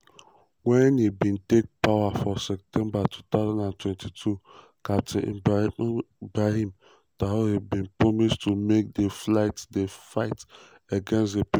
wen im bin take power for september 2022 captain ibrahim traoré bin promise to make di fight di fight against terrorism